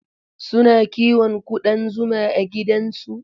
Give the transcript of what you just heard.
Suna kiwon ƙudan zuma a gidansu.